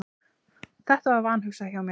Þetta var vanhugsað hjá mér.